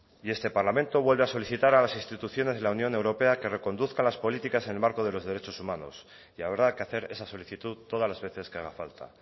y este parlamento vuelve a solicitar a las instituciones de la unión europea que reconduzca las políticas en el marco de los derechos humanos y habrá que hacer esa solicitud todas las veces que haga falta